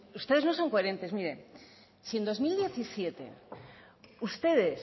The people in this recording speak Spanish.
ustedes no son coherentes mire si en dos mil diecisiete ustedes